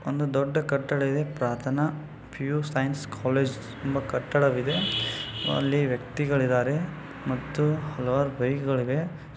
ಒಂದು ದೊಡ್ಡ ಕಟ್ಟಡ ಇದೆ. ಪ್ರಾರ್ಥನಾ ಪಿಯು ಸೈನ್ಸ್ ಕಾಲೇಜ್ ಕಟ್ಟಡವಿದೆ. ಅಲ್ಲಿ ವ್ಯಕ್ತಿಗಳಿದ್ದಾರೆ ಮತ್ತು ಹಲವಾರು ಬೈಕ್ ಗಳಿವೆ.